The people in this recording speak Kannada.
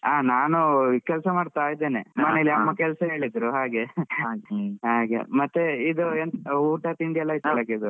ನಾನು ಕೆಲ್ಸ ಮಾಡ್ತಾ ಇದ್ದೆ ಮನೇಲಿ ಅಮ್ಮ ಕೆಲ್ಸ ಹೇಳಿದ್ರು ಹಾಗೆ ಮತ್ತೆ ಇದು ಎಂತ ಊಟ ತಿಂಡಿ ಎಲ ಆಯ್ತಾ ಬೆಳಗಿದ್ದು?